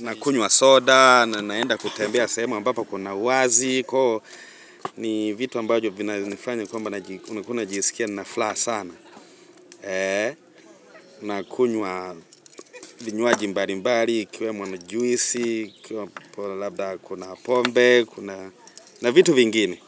nakunywa soda, naenda kutembea sehemu ambapo kuna uwazi. Ni vitu ambacho vinanifanya kwamba nakuna jisikia na furaha sana. Na kunywa vinywaji mbali mbali, ikiwemo ni juisi, kuna pombe, kuna na vitu vingine.